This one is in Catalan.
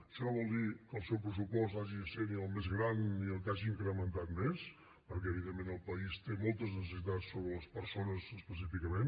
això no vol dir que el seu pressupost hagi de ser ni el més gran ni el que hagi incrementat més perquè evidentment el país té moltes necessitats sobre les persones específicament